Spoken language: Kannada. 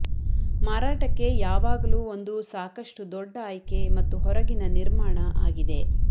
ಮಾರಾಟಕ್ಕೆ ಯಾವಾಗಲೂ ಒಂದು ಸಾಕಷ್ಟು ದೊಡ್ಡ ಆಯ್ಕೆ ಮತ್ತು ಹೊರಗಿನ ನಿರ್ಮಾಣ ಆಗಿದೆ